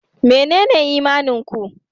Menene imanin ku?